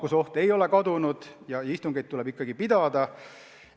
Nakkusoht ei ole kadunud ja istungeid tuleb ikkagi pidada.